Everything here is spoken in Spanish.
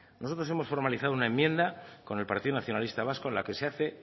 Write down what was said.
nosotros hemos formalizado una enmienda con el partido nacionalista vasco en la que se hace